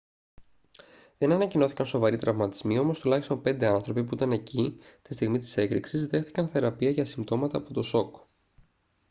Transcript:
δεν ανακοινώθηκαν σοβαροί τραυματισμοί όμως τουλάχιστον πέντε άνθρωποι που ήταν εκεί τη στιγμή της έκρηξης δέχθηκαν θεραπεία για συμπτώματα από το σοκ